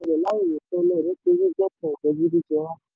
àwọn ìṣòro ṣẹlẹ̀ láìrótẹ́lẹ̀ nítorí dẹ́kun ìjẹgúdújẹrá.